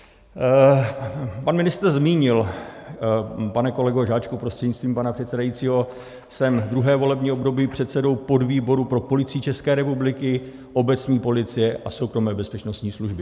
Pan ministr zmínil, pane kolego Žáčku prostřednictvím pana předsedajícího, jsem druhé volební období předsedou podvýboru pro Policii České republiky, obecní policie a soukromé bezpečnostní služby.